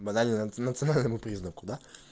банально национальному признаку да